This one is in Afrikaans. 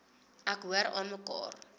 ek hoor aanmekaar